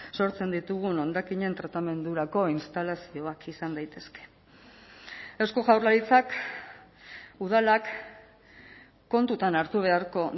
sortzen ditugun hondakinen tratamendurako instalazioak izan daitezke eusko jaurlaritzak udalak kontutan hartu beharko